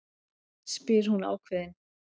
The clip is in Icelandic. spyr hún ákveðin.